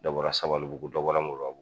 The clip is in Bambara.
Dɔ bɔra sabalibuugu dɔ bɔra Moribabugu